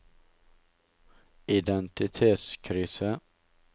identitetskrise